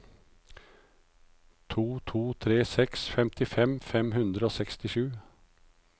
to to tre seks femtifem fem hundre og sekstisju